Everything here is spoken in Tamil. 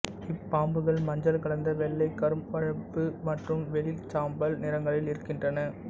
இப்பாம்புகள் மஞ்சள் கலந்த வெள்ளை கரும்பழுப்பு மற்றும் வெளிர்சாம்பல் நிறங்களில் இருக்கின்றன